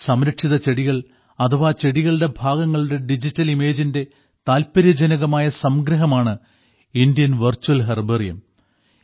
സംരക്ഷിത ചെടികൾ അഥവാ ചെടികളുടെ ഭാഗങ്ങളുടെ ഡിജിറ്റൽ ഇമേജിന്റെ താല്പര്യജനകമായ സംഗ്രഹമാണ് ഇന്ത്യൻ വെർച്വൽ ഹെർബേറിയം